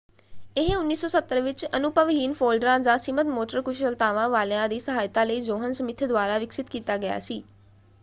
ਇਹ 1970 ਵਿੱਚ ਅਨੁਭਵਹੀਨ ਫੋਲਡਰਾਂ ਜਾਂ ਸੀਮਤ ਮੋਟਰ ਕੁਸ਼ਲਤਾਵਾਂ ਵਾਲਿਆ ਦੀ ਸਹਾਇਤਾ ਲਈ ਜੌਹਨ ਸਮਿੱਥ ਦੁਆਰਾ ਵਿਕਸਿਤ ਕੀਤਾ ਗਿਆ ਸੀ।